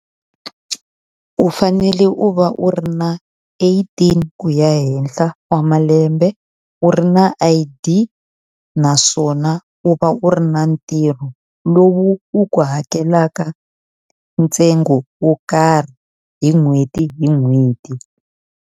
U fanele u va u ri na eighteen ku ya henhla wa malembe, u ri na I_D naswona u va u ri na ntirho lowu wu ku hakelaka ntsengo wo karhi hi n'hweti hi n'hweti.